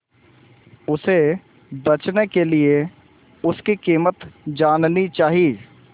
उसे बचने के लिए उसकी कीमत जाननी चाही